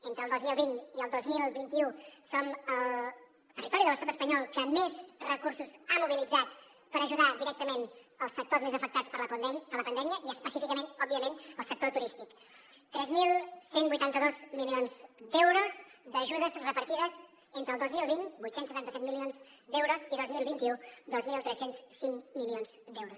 entre el dos mil vint i el dos mil vint u som el territori de l’estat espanyol que més recursos ha mobilitzat per ajudar directament els sectors més afectats per la pandèmia i específicament òbviament el sector turístic tres mil cent i vuitanta dos milions d’euros d’ajudes repartides entre el dos mil vint vuit cents i setanta set milions d’euros i el dos mil vint u dos mil tres cents i cinc milions d’euros